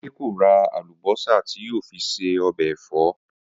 Adé kò ra àlùbó̩sà tí yóò fi se o̩bè̩ è̩fó